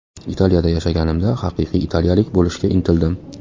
Italiyada yashaganimda, haqiqiy italiyalik bo‘lishga intildim.